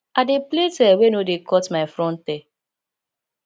i dey plait hair wey no dey cut my front hair